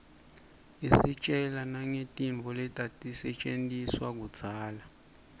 istjela nangetintfo letatisetjentiswa kudzala